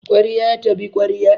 Kwarya ta bi kwarya